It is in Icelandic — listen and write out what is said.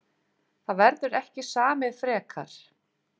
Það verður ekki samið frekar